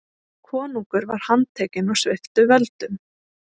Konungur var handtekinn og sviptur völdum.